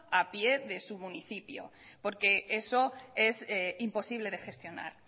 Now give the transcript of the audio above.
a pie de su municipio porque eso es imposible de gestionar